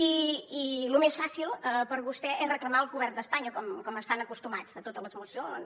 i lo més fàcil per a vostè és reclamar al govern d’espanya com hi estan acostumats a totes les mocions